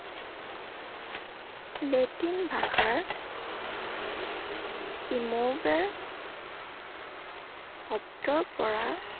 Latin ভাষাৰ emovere শব্দৰ পৰা